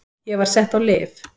Ég var sett á lyf.